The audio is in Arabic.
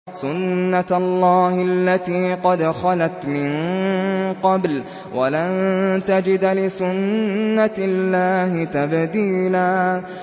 سُنَّةَ اللَّهِ الَّتِي قَدْ خَلَتْ مِن قَبْلُ ۖ وَلَن تَجِدَ لِسُنَّةِ اللَّهِ تَبْدِيلًا